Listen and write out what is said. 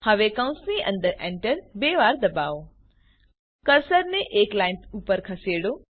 હવે કૌંસની અંદર enter બે વાર દબાવો કર્સરને એક લાઈન ઉપર ખસેડો